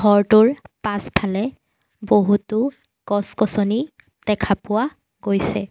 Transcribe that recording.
ঘৰটোৰ পাছফালে বহুতো গছ-গছনি দেখা পোৱা গৈছে।